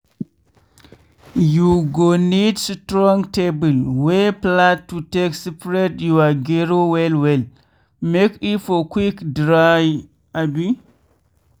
you go need strong table wey flat to take spread your gero well well make e for quick dry. abi